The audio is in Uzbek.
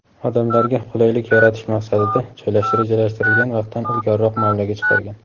odamlarga qulaylik yaratish maqsadida rejalashtirilgan vaqtdan ilgariroq muomalaga chiqargan.